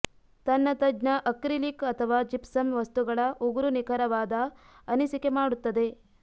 ತನ್ನ ತಜ್ಞ ಅಕ್ರಿಲಿಕ್ ಅಥವಾ ಜಿಪ್ಸಮ್ ವಸ್ತುಗಳ ಉಗುರು ನಿಖರವಾದ ಅನಿಸಿಕೆ ಮಾಡುತ್ತದೆ